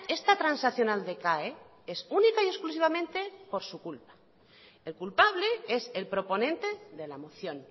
esta transaccional decae es única y exclusivamente por su culpa el culpable es el proponente de la moción